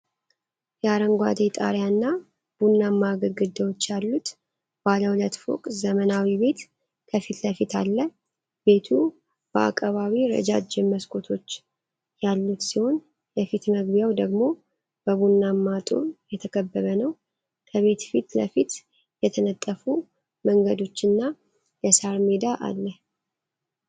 የአረንጓዴ ጣሪያ እና ቡናማ ግድግዳዎች ያሉት ባለ ሁለት ፎቅ ዘመናዊ ቤት ከፊት ለፊት አለ። ቤቱ በአቀባዊ ረዣዥም መስኮቶች ያሉት ሲሆን የፊት መግቢያው ደግሞ በቡናማ ጡብ የተከበበ ነው። ከቤት ፊት ለፊት የተነጠፉ መንገዶችና የሣር ሜዳ አለ።